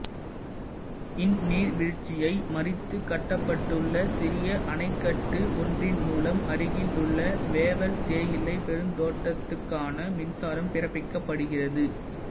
இந்நீர்வீழ்ச்சியை மறித்து கட்டப்ப்பட்டுள்ள சிறிய அணைக்கட்டு ஒன்றின் மூலம் அருகிலுள்ள வேவல் தேயிலைப் பெருந்தோட்டத்துக்கான மின்சாரம் பிறப்பிக்கப்படுகிறது